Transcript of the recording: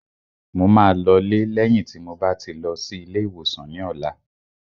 Mo máa lọ lé lẹ́yìn tí mo bá ti lọ sí ilé ìwòsàn ní ọ̀la